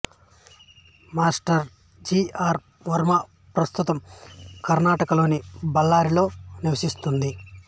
master G R Varma ప్రస్తుతం కర్నాటకలోని బళ్ళారిలో నివసిస్తుంది